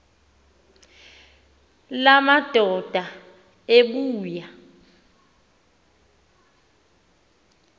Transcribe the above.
la madoda ebuya